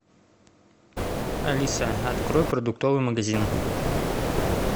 алиса открой продуктовый магазин